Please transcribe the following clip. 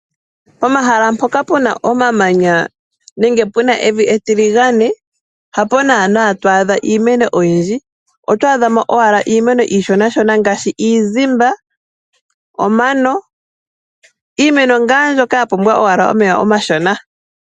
Pomahala mpoka puna omamanya nenge puna evi etiligane hapo naana to adha iimeno oyindji. Oto adhamo iimeno iishonashona ngaashi iizimba, omano iimeno ngaa mbyoka yapumbwa omeya omashona.